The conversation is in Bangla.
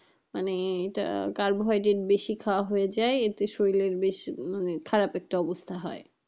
মানে এইটা কার্বোহাইড্রেট বেশি খাওয়া হয়ে যায় এতে শরীরের বেশ মানে একটা খারাপ অবস্থা হয়।